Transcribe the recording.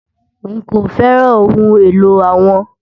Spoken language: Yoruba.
Nkọ fẹ́ràn ọhun èlò awọn